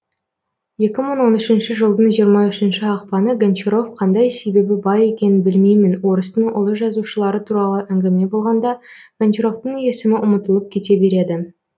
екі мың он үшінші жылдың жиырма үшінші ақпаны гончаров қандай себебі бар екенін білмеймін орыстың ұлы жазушылары туралы әңгіме болғанда гончаровтың есімі ұмытылып кете береді